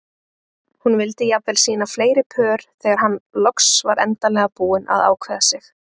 Hún vildi jafnvel sýna fleiri pör þegar hann loks var endanlega búinn að ákveða sig.